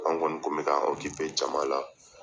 An kɔni kun bɛ ka jama la